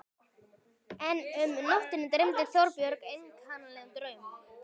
En um nóttina dreymdi Þorbjörn einkennilegan draum.